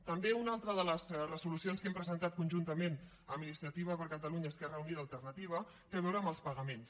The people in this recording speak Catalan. també una altra de les resolucions que hem presentat conjuntament amb iniciativa per catalunya esquerra unida i alternativa té a veure amb els pagaments